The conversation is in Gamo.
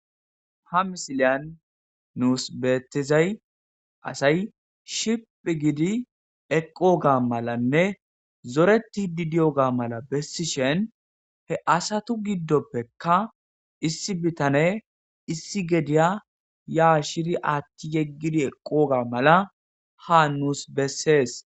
Ha misiliyan nus beettizay asay shiphi gidi eqooga malanne zoreti didiyoga mala bessi shen he asatu giddoppekka issi bitane issi gediya ya shiri aatti yeggidi eqqooga mala ha nuus bessees.